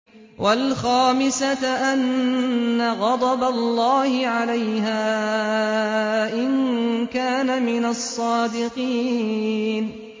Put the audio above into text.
وَالْخَامِسَةَ أَنَّ غَضَبَ اللَّهِ عَلَيْهَا إِن كَانَ مِنَ الصَّادِقِينَ